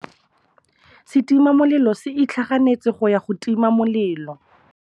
Setima molelô se itlhaganêtse go ya go tima molelô.